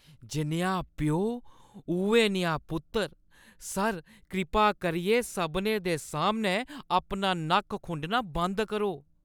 जनेहा प्यो, उ'ऐ नेहा पुत्तर। सर, कृपा करियै सभनें दे सामनै अपना नक्क खुंडना बंद करो।